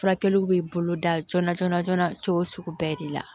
Furakɛliw bɛ boloda joona joona joona cogo sugu bɛɛ de la